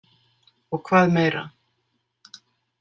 Og hvað meira?